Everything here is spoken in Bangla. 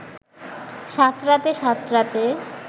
সাঁতরাতে সাঁতরাতে